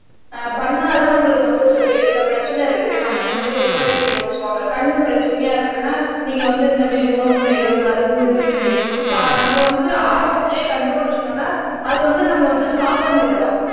ஆஹ் பண்ணா தான் நம்மளுக்கு வந்து சரி இந்த பிரச்சனை இருக்கு நம்ம இந்த மாதிரி உணவு எடுத்துக்கணும்னு சொல்லுவாங்க கண்ணு பிரச்சனையா இருக்குன்னா நீங்க வந்து இந்த மாதிரி உணவு முறைகள் மருந்து இந்த மாதிரி நம்ம வந்து ஆரம்பத்திலேயே கண்டுபிடிச்சுட்டோம்னா அது வந்து நம்ம வந்து ஸ்டாப் பண்ணிடலாம்